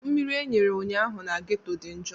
Mmiri e nyere ụnyaahụ na ghetto dị njọ.